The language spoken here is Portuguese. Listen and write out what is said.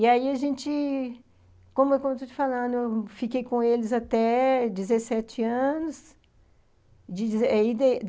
E aí a gente, como eu estou te falando, eu fiquei com eles até dezessete anos e